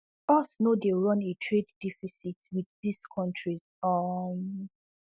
us no dey run a trade deficit wit dis kontris um